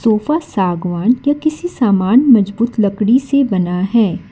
ऊपर सागवान क्या किसी सामान मजबूत लकड़ी से बना है।